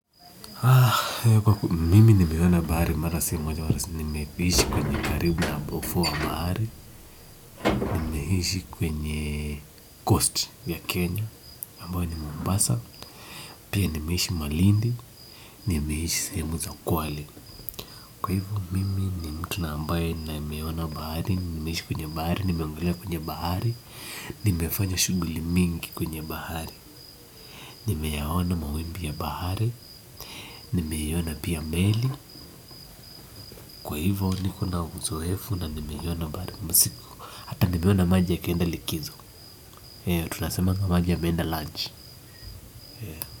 Kwa hivyo, mimi nimeona bahari mara si moja, nimeishi kwenye karibu na ufu wa bahari, nimeishi kwenye Coast ya Kenya, ambayo ni Mombasa, pia nimeishi malindi, nimeishi sehemu za kwali. Kwa hivyo, mimi ni mtu ambaye nimeona bahari, nimeishi kwenye bahari, nimeogelea kwenye bahari, nimefanya shughuli mingi kwenye bahari, nimeona mawimbi ya bahari, nimeona pia meli. Kwa hivo niko na uzoefu na nimeiona mara mingi hata nimeona maji yakienda likizo. Tutasemanga maji yameenda lunch.